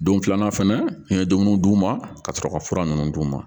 Don filanan fɛnɛ n ye dumuniw d'u ma ka sɔrɔ ka fura ninnu d'u ma